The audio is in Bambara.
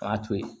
O y'a to ye